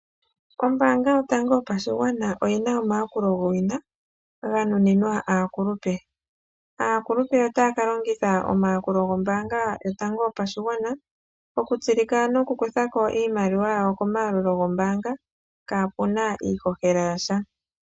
Ombaanga yotango yopashigwana oyi na omayakulo gowina ganuninwa aakulupe. Aakulupe otaya ka longitha omayakulo gombaanga yotango yopashigwana okutsilika nokukutha ko iimaliwa yawo komayalulilo gombaanga kaapuna iihohela yasha.